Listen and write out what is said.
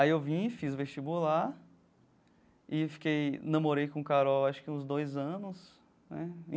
Aí eu vim, fiz o vestibular e eu fiquei namorei com Carol acho que uns dois anos né.